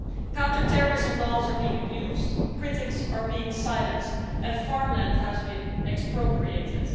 Counter-terrorism laws are being abused, critics are being silenced and farmland has been expropriated.